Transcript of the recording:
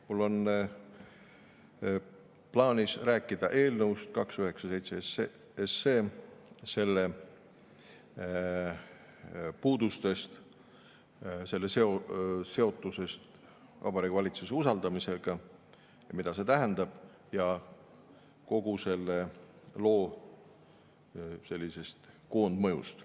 Mul on plaanis rääkida eelnõust 297, selle puudustest, selle seotusest Vabariigi Valitsuse usaldamisega ja mida see tähendab, ja kogu selle loo koondmõjust.